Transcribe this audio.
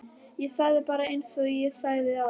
Ég segi bara einsog ég sagði áðan